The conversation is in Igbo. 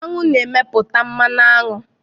Aṅụ na-emeputa mmanụ aṅụ